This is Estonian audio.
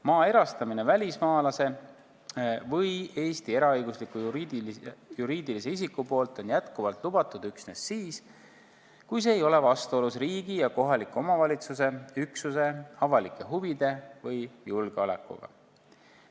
Maa erastamine välismaalase või Eesti eraõigusliku juriidilise isiku poolt on jätkuvalt lubatud üksnes siis, kui see ei ole vastuolus riigi ja kohaliku omavalitsuse üksuse avalike huvide või julgeolekuga.